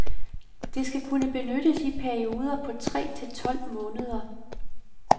Det skal kunne benyttes i perioder på tre til tolv måneder.